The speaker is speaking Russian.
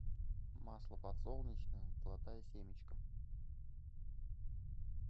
масло подсолнечное золотая семечка